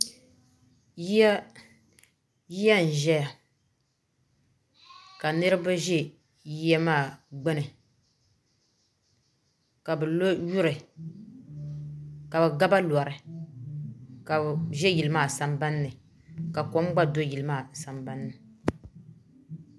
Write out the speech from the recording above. Ya n-ʒeya ka niriba ʒi ya maa gbuni ka bɛ lo yuri ka bɛ ga ba lori ka bɛ ʒe yili maa sambani ni ka kom gba do yili maa sambani ni.